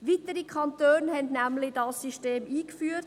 Weitere Kantone haben dieses System eingeführt.